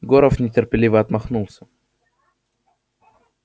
горов нетерпеливо отмахнулся